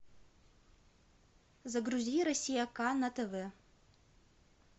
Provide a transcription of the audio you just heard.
загрузи россия к на тв